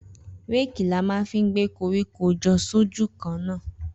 Rẹki là mà fi gbẹ kọrikọ jọ ṣójù kán na.